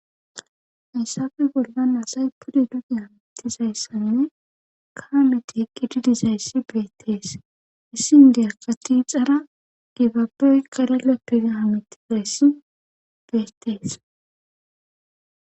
Hayssafe bollan asay pude duda amitizayssanne kaameti eqqi didizayssi beettees issin derkati xara gibabey kalala pirahamitizayssi beettees